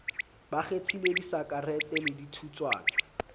ba kgethile disakarete le dithutswana